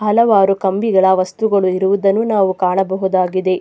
ಹಲವಾರು ಕಂಬಿಗಳ ವಸ್ತುಗಳು ಇರುವುದನ್ನು ನಾವು ಕಾಣಬಹುದಾಗಿದೆ.